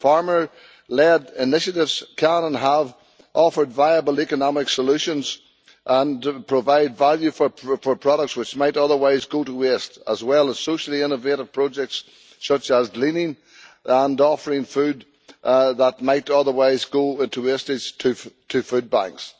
Farmer led initiatives can and have offered viable economic solutions and provide value for products which might otherwise go to waste as well as socially innovative projects such as gleaning and offering food that might otherwise go to waste to food banks.